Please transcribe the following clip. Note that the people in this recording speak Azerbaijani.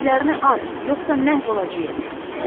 Tüfənglərini at, yoxsa məhv olacağıq.